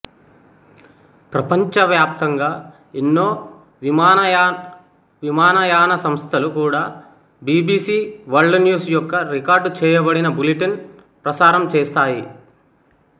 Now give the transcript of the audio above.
ప్రపంచ వ్యాప్తంగా ఎన్నో విమానయాన సంస్థలు కూడా బిబిసి వరల్డ్ న్యూస్ యొక్క రికార్డు చేయబడిన బులెటిను ప్రసారం చేస్తాయి